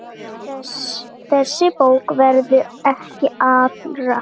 Þessi bók verður ekki allra.